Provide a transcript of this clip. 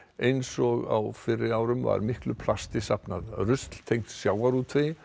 eins og fyrri ár var miklu plasti safnað rusl tengt sjávarútvegi